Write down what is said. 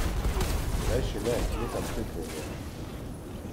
Rajši ne, nekam crknjen je.